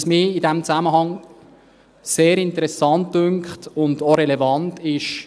Was mich in diesem Zusammenhang sehr interessant und relevant dünkt: